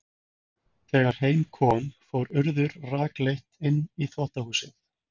Þegar heim kom fór Urður rakleitt inn í þvottahúsið.